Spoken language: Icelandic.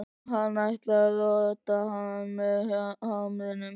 Hann ætlar að rota hann með hamrinum.